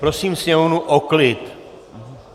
Prosím sněmovnu o klid.